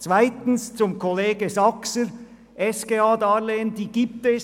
Zweitens, zu Kollege Saxer: SGH-Darlehen gibt es.